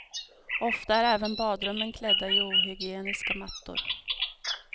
Ofta är även badrummen klädda i ohygieniska mattor.